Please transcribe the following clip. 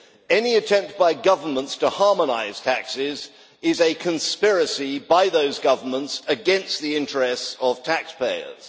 Any attempt by governments to harmonise taxes is a conspiracy by those governments against the interests of taxpayers.